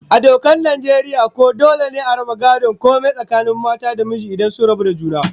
A dokar Najeriya ko dole ne a raba gadon komai tsakanin mata da miji idan sun rabu da juna?